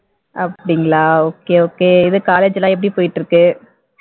அப்படிங்களா okay okay இது college எல்லாம் எப்படி போயிட்டு இருக்கு?